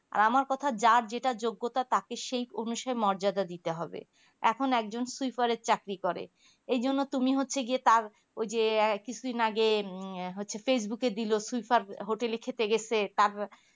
আর আমার কথা যার যেটা যোগ্যতা তাকে সেই অনসই মর্যাদা দিতে হবে এখন একজন swiper এর চাকরি করে এই জন্য তুমি হচ্ছে গিয়ে তার ওই যে কিছুদিন আগে facebook এ দিলো swiper hotel এ খেতে গেছে তার